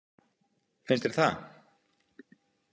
Finnst þér það?